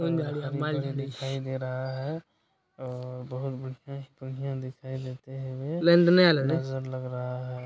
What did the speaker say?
दिखाई दे रहा है अ बहुत बढ़ियां ही बढियाँ दिखाई देते है ये नज़र लग रहा है।